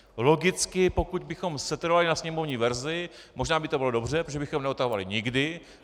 Logicky pokud bychom setrvali na sněmovní verzi, možná by to bylo dobře, protože bychom neodtahovali nikdy.